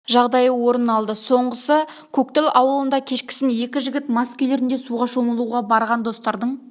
жағдайы орын алды соңғысы көктал ауылында кешкісін екі жігіт мас күйлерінде суға шомылуға барған достардың